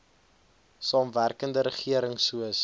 samewerkende regering soos